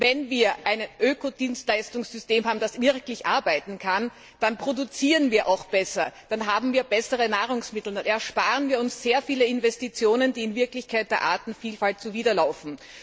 Denn wenn wir ein Ökodienstleistungssystem haben, das wirklich arbeiten kann, dann produzieren wir auch besser, dann haben wir bessere Nahrungsmittel und ersparen uns sehr viele Investitionen, die in Wirklichkeit der Artenvielfalt zuwiderlaufen.